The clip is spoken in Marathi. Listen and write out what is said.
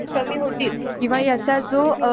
कॅम्पस असतात ओर्गानिसशन्स असतात